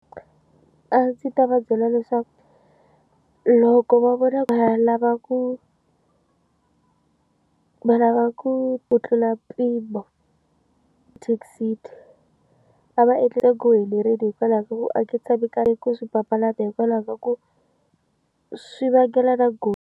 A ndzi ta va byela leswaku loko va vona va lava ku va lava ku ku tlula mpimo taxi a va endlisa helerile hikwalaho ka ku aka tshami nkarhi ku swi papalata hikwalaho ka ku swi vangela na ku.